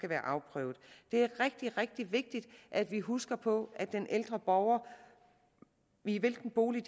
været afprøvet det er rigtig rigtig vigtigt at vi husker på at den ældre borger i hvilken bolig